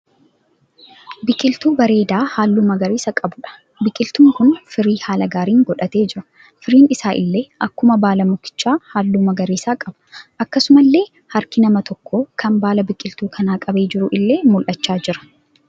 Biqiltuu bareedaa halluu magariisa qabuudha. Biqiltuun kun firii haala gaariin godhatee jira. Firiin isaa illee akkuma baala mukichaa halluu magariisa qaba. Akkasumallee harki nama tokko kan baala biqiltuu kanaa qabaa jiruu illee mul'achaa jira.